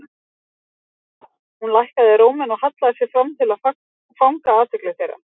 Vitið þið hvað. Hún lækkaði róminn og hallaði sér fram til að fanga athygli þeirra.